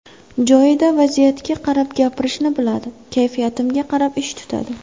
Joyida, vaziyatga qarab gapirishni biladi, kayfiyatimga qarab ish tutadi.